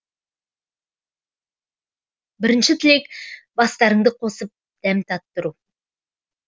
бірінші тілек бастарыңды қосып дәм таттыру